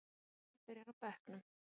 Hermann byrjar á bekknum